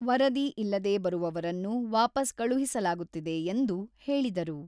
ವರದಿ ಇಲ್ಲದೆ ಬರುವವರನ್ನು ವಾಪಸ್ ಕಳುಹಿಸಲಾಗುತ್ತಿದೆ ಎಂದು ಹೇಳಿದರು.